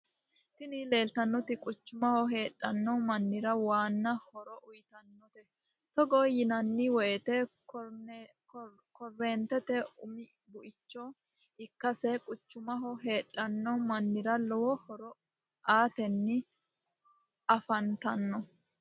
Tini lelitanoti quchumaho hedhano mannira wana horo uiyitanotae togo yinanniwoyite korennitete umi buicho ikaseni quchumaho hedhano manira lowo horo ateni afanitano.